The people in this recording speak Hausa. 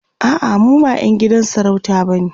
a'a mu ba ƴan gidan sarauta bane